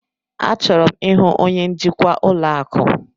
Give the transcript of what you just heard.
Achọrọ m ịhụ onye njikwa ụlọ akụ.